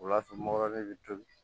O y'a sɔrɔ mɔrɔgɔ de bɛ tobi